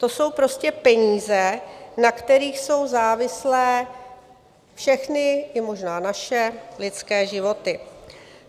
To jsou prostě peníze, na kterých jsou závislé všechny - i možná naše - lidské životy.